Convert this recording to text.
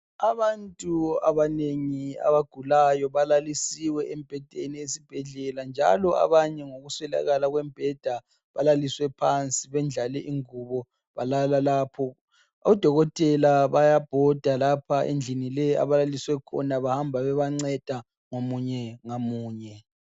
Abantu abanengi abagulayo balalisiwe embhedeni esibhedlela njalo abanye ngokuswelakala kwembheda balaliswe phansi, bendlale ingubo balala lapho. Odokotela bayabhoda lapha endlini leyi abalaliswe khona ,bahamba bebanceda ngamunye ngamunye.